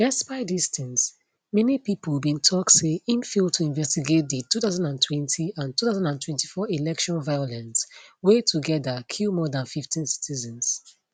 despite dis tins many pipo bin tok say im fail to investigate di 2020 and 2024 election violence wey togeda kill more dan 15 citizens